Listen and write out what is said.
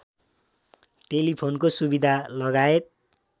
टेलिफोनको सुविधा लगायत